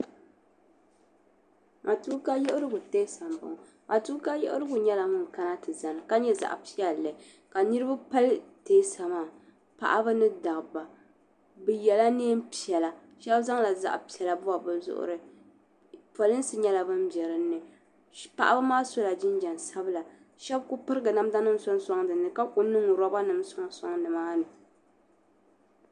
Matuuka yiɣirigu tɛɛsa m bo ŋɔ matuuka yiɣirigu nyela ŋun kana ti zani ka nye zaɣpiɛlli ka niribi pali tɛɛsa maa paɣaba ni dabba bɛ yɛla nɛɛnpiɛla shɛbi zaŋla zaɣpiɛla bobi bi zuɣuri polinsi nyela ban be din ni paɣa maa sola jinjam sabila shɛbi kuli pirigi namdanima sɔŋ din ni ka ku niŋ robanim sɔŋsɔŋni maa ni.